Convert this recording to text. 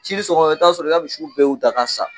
Cini sɔgɔma i bɛ taa sɔrɔ i ka misiw bɛɛ y'u da ka sa.